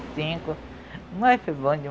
cinco